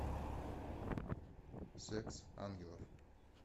секс ангелов